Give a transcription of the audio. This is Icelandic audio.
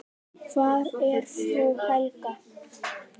Hvar er frú Helga?